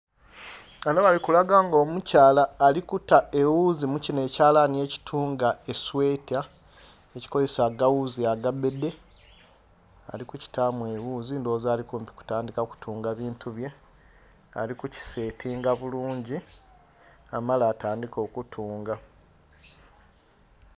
Ghano bali kulaga ng'omkyala ali kuta ewuzi mu kinho ekyalani ekitunga esweta, ekikozesa agawuzi agabbedhe. Ali kukitaamu ewuzi ndowoza ali kumpi kutandika kutunga bintu bye, ali kukisetinga bulungi, amale atandiike okutunga.